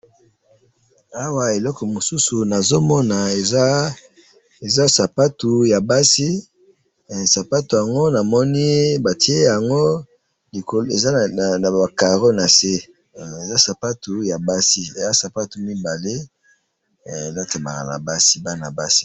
awa eloko mosusu nazomona eza sapato ya basi ,hein sapato yango namoni batiye yango likolo ,eza naba carreaeux nase hein eza sapato ya basi hein eza sapato ya bana basi.